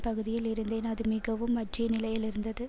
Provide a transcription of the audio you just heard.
பகுதியில் இருந்தேன் அது மிகவும் வற்றிய நிலையில் இருந்தது